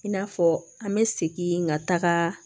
I n'a fɔ an bɛ segin ka taga